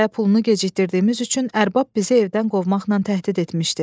Kirayə pulunu gecikdirdiyimiz üçün ərbab bizi evdən qovmaqla təhdid etmişdi.